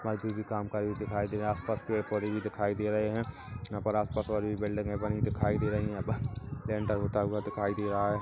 मजदूर भी काम करे हुए दिखाई दे रहे है आस पास पेड़ पौधे भी दिखाई दे रहे है यहाँ पर आसपास और भी बिल्डिंगें बनी दिखाई दे रही है ऐ-ब लेंटर होता हुआ दिखाई दे रहा है।